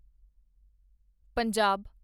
Punjab